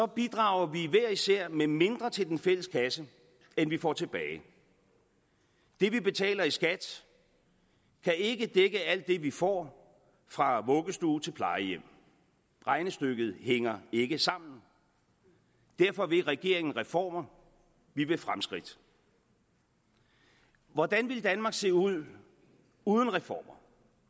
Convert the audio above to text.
bidrager vi hver især med mindre til den fælles kasse end vi får tilbage det vi betaler i skat kan ikke dække alt det vi får fra vuggestue til plejehjem regnestykket hænger ikke sammen derfor vil regeringen reformer vi vil fremskridt hvordan ville danmark se ud uden reformer